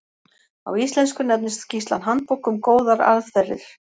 á íslensku nefnist skýrslan handbók um góðar aðferðir